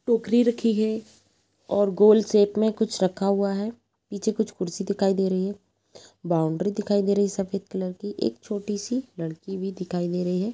टोकरी रखी है और गोल शेप में कुछ रखा हुआ है। पीछे कुछ कुर्सी दिखाई दे रही है। बाउंड्री दिखाई दे रही है सफ़ेद कलर की। एक छोटी सी लड़की भी दिखाई दे रही है।